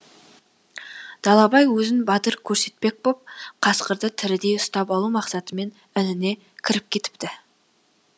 далабай өзін батыр көрсетпек боп қасқырды тірідей ұстап алу мақсатымен ініне кіріп кетіпті